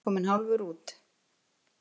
Valdimar, kominn hálfur út.